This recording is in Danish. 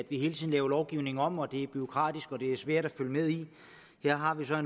vi hele tiden laver lovgivningen om at det er bureaukratisk og at det er svært at følge med i her har vi så